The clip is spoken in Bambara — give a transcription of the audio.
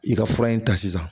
I ka fura in ta sisan